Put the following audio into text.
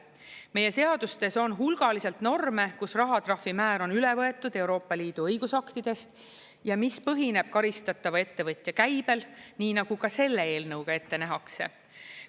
Meie seadustes on hulgaliselt norme, kus rahatrahvi määr on üle võetud Euroopa Liidu õigusaktidest ja mis põhineb karistatava ettevõtja käibel, nii nagu ka selle eelnõuga ette nähakse.